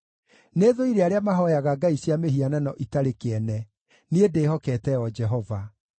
Nĩthũire arĩa mahooyaga ngai cia mĩhianano ĩtarĩ kĩene; niĩ ndĩhokete o Jehova.